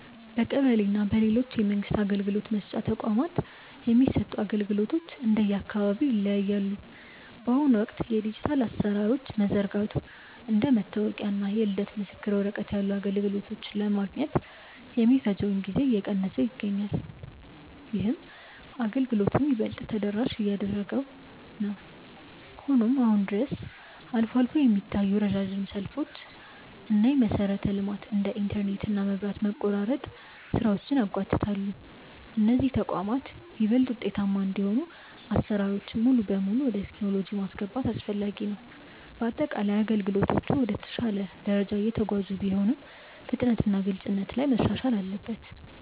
በቀበሌ እና በሌሎች የመንግስት አገልግሎት መስጫ ተቋማት የሚሰጡ አገልግሎቶች እንደየአካባቢው ይለያያሉ። በአሁኑ ወቅት የዲጂታል አሰራሮች መዘርጋቱ እንደ መታወቂያ እና የልደት ምስክር ወረቀት ያሉ አገልግሎቶችን ለማግኘት የሚፈጀውን ጊዜ እየቀነሰው ይገኛል። ይህም አገልግሎቱን ይበልጥ ተደራሽ እያደረገው ነው። ሆኖም አሁንም ድረስ አልፎ አልፎ የሚታዩ ረጅም ሰልፎች እና የመሰረተ ልማት (እንደ ኢንተርኔት እና መብራት) መቆራረጥ ስራዎችን ያጓትታሉ። እነዚህ ተቋማት ይበልጥ ውጤታማ እንዲሆኑ አሰራሮችን ሙሉ በሙሉ ወደ ቴክኖሎጂ ማስገባት አስፈላጊ ነው። በአጠቃላይ አገልግሎቶቹ ወደ ተሻለ ደረጃ እየተጓዙ ቢሆንም፣ ፍጥነትና ግልጽነት ላይ መሻሻል አለበት።